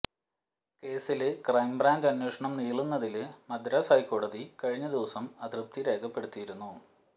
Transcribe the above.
കേസില് ക്രൈംബ്രാഞ്ച് അന്വേഷണം നീളുന്നതില് മദ്രാസ് ഹൈക്കോടതി കഴിഞ്ഞ ദിവസം അതൃപ്തി രേഖപ്പെടുത്തിയിരുന്നു